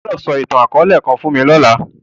O gbọdọ sọ itan-akọọlẹ kan fun mi lọla!